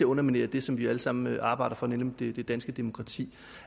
underminere det som vi alle sammen arbejder for nemlig det danske demokrati